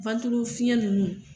Wantilo fiyɛn ninnu